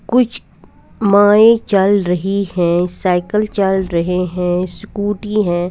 कुछ माए चल रही हैं चल रहे हैं स्कूटी हैं।